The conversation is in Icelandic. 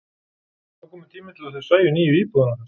Það var kominn tími til að þau sæju nýju íbúðina okkar.